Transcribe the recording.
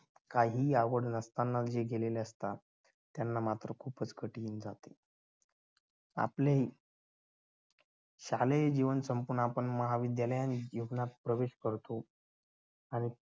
काहीही आवड नसताना जे गेलेले असतात त्यांना मात्र खूपच कठीण जात. आपले शालेय जीवन संपून आपण महाविद्यालयात प्रवेश करतो आणि